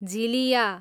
झिलियाँ